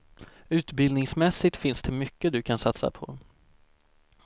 Utbildningsmässigt finns det mycket du kan satsa på.